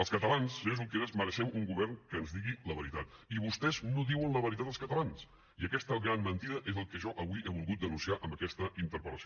els catalans senyor junqueras mereixem un govern que ens digui la veritat i vostès no diuen la veritat als catalans i aquesta gran mentida és el que jo avui he volgut denunciar amb aquesta interpel·lació